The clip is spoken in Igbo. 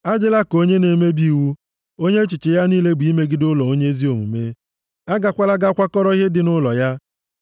Adịla ka onye na-emebi iwu, onye echiche ya niile bụ imegide ụlọ onye ezi omume. A gakwala ga kwakọrọ ihe dị nʼụlọ ya.